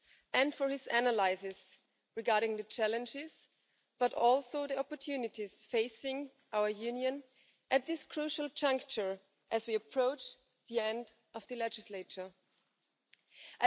and for his analyses regarding the challenges but also the opportunities facing our Union at this crucial juncture as we approach the end of the parliamentary term.